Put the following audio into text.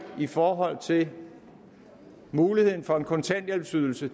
i forhold til muligheden for en kontanthjælpsydelse